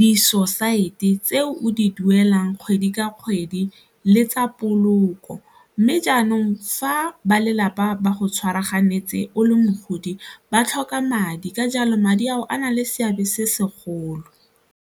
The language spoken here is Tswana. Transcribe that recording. disosaete tse o di duelang kgwedi ka kgwedi le tsa poloko mme jaanong fa ba lelapa ba go tshwaraganeng ntse o le mogodi ba tlhoka madi ka jalo madi ao a na le seabe se segolo.